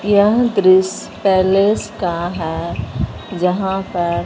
यह दृश्य पैलेस का है जहां पर--